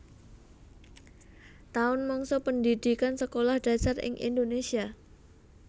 Taun mangsa pendhidhikan Sekolah Dasar ing Indonésia